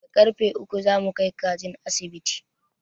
Da karrfe uku za mu kai kajin asibiti.